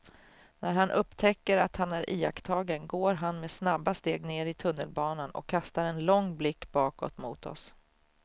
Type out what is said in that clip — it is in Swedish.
När han upptäcker att han är iakttagen går han med snabba steg ner i tunnelbanan och kastar en lång blick bakåt mot oss.